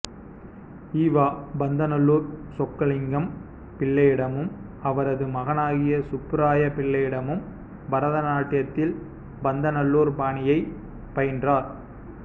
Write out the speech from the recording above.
இவ பந்தாநல்லூர் சொக்கலிங்கம் பிள்ளையிடமும் அவரது மகனாகிய சுப்பராய பிள்ளையிடமும் பரத நாட்டியத்தில் பந்தநல்லூர் பாணியைப் பயின்றார்